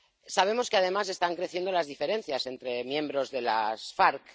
Sabemos que, además, están creciendo las diferencias entre miembros de las FARC.